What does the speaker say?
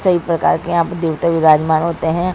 सभी प्रकार के यहाँ पे देवते विरजमान होते है।